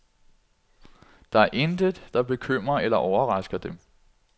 Der er intet, der bekymrer eller overrasker dem.